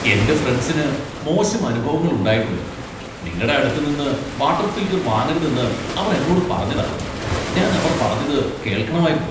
എന്റെ ഫ്രണ്ട്സിന് മോശം അനുഭവങ്ങൾ ഉണ്ടായിട്ടുണ്ട്, നിങ്ങടെ അടുത്ത് നിന്ന് വാട്ടർ ഫിൽട്ടർ വാങ്ങരുതെന്ന് അവർ എന്നോട് പറഞ്ഞതാ . ഞാൻ അവർ പറഞ്ഞത് കേൾക്കണമായിരുന്നു.